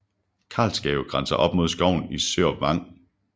Karlsgave grænser op mod skoven Sørup Vang